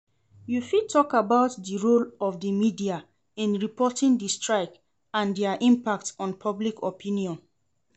You fit talk about di role of di media in reporting di strike and dia impact on public opinion.